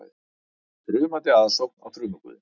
Þrumandi aðsókn á þrumuguðinn